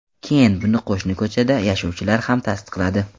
Keyin buni qo‘shni ko‘chada yashovchilar ham tasdiqladi.